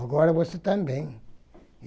Agora você também.